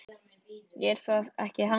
Er það ekki þannig?